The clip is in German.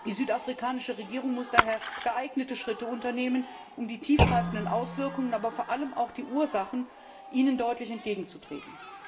Die südafrikanische Regierung muss daher geeignete Schritte unternehmen, um die tiefgreifenden Auswirkungen, aber vor allem auch die Ursachen entschieden anzugehen.